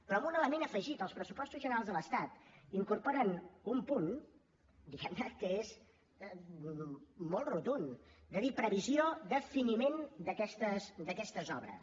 però amb un element afegit els pressupostos generals de l’estat incorporen un punt diguem ne que és molt rotund de dir la previsió de finiment d’aquestes obres